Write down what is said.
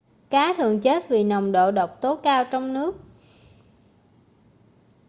cá thường chết vì nồng độ độc tố cao trong nước